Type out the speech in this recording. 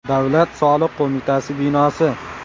Davlat soliq qo‘mitasi binosi.